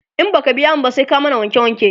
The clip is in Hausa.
in baka biya mu ba, sai ka mana wanke wanke